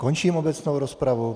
Končím obecnou rozpravu.